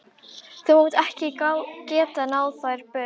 Þú munt ekki geta máð þær burt.